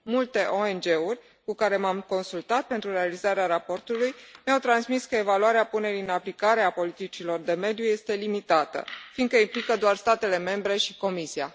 Multe ONG uri cu care m am consultat pentru realizarea raportului mi au transmis că evaluarea punerii în aplicare a politicilor de mediu este limitată fiindcă implică doar statele membre și Comisia.